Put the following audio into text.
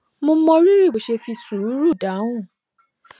mo mọ rírì bó ṣe fi sùúrù dáhùn